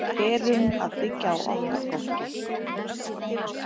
Erum að byggja á okkar fólki